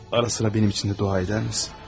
Arada mənim üçün də dua edərsənmi?